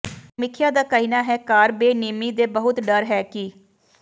ਸਮੀਖਿਆ ਦਾ ਕਹਿਣਾ ਹੈ ਕਾਰ ਬੇਨਿਯਮੀ ਦੇ ਬਹੁਤ ਡਰ ਹੈ ਕਿ